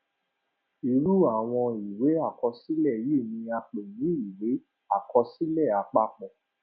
irú àwọn ìwé àkọsílẹ yìí ni a pè ní ìwé àkọsílẹ àpapọ